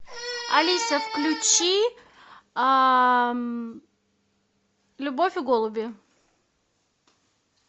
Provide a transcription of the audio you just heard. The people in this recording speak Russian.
алиса включи любовь и голуби